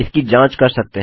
इसकी जाँच कर सकते हैं